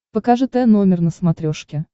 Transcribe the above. покажи т номер на смотрешке